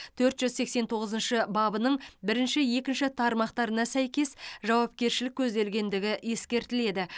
төрт жүз сексен тоғызыншы бабының бірінші екінші тармақтарына сәйкес жауапкершілік көзделгендігі ескертіледі